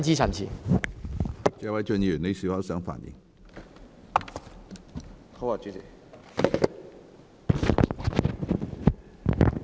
謝偉俊議員，你是否想發言？